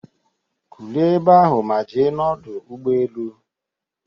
Kulie ebe ahụ ma je n'Ọdụ Ụgbọ elu